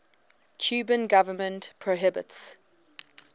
cuban government prohibits